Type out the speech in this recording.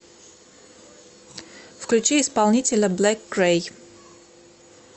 включи исполнителя блэк крэй